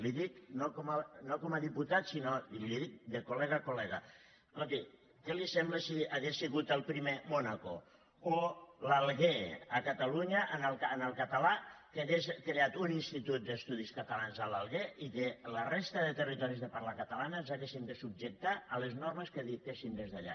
li ho dic no com a diputat sinó que li ho dic de colescolti què li sembla si hagués sigut el primer mònaco o l’alguer a catalunya en el català que hagués creat un institut d’estudis catalans a l’alguer i que la resta de territoris de parla catalana ens haguéssim de subjectar a les normes que es dictessin des d’allà